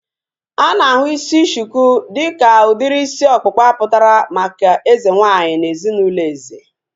A na-ahụ isi shuku dịka udiri isi ọkpụkpa pụtara maka eze nwaanyị na ezinaụlọ eze